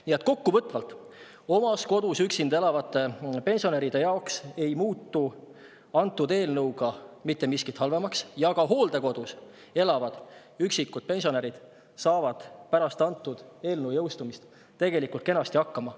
Nii et kokkuvõttes, oma kodus üksinda elavate pensionäride jaoks ei muutu selle eelnõuga mitte miskit halvemaks ja ka hooldekodus elavad üksikud pensionärid saavad pärast eelnõu jõustumist tegelikult kenasti hakkama.